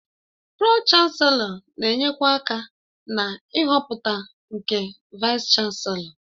Pro-Chanselọ na-enyekwa aka na ịhọpụta nke Vaịs-Chanselọ.